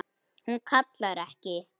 Hún kallar ekki: